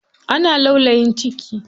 Ana laulayin ciki.